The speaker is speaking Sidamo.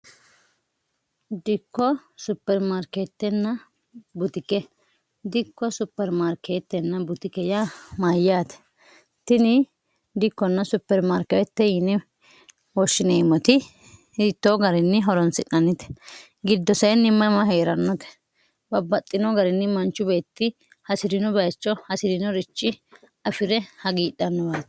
dikko supermaarkeettenna butike dikko supermaarkeettenna butike ya mayyaate tini dikkonna supermaarkewette yini hoshshineemmoti hittoo garinni horonsi'nannite giddo saenni mama hee'rannote babbaxxino garinni manchu beetti hasi'rino bayicho hasi'rinorichi afi're hagiidhannuwate